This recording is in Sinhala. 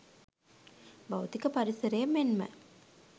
භෞතික පරිසරය මෙන්ම